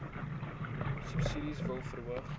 subsidie wil verhoog